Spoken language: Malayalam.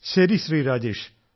ശരി ശ്രീ രാജേഷ്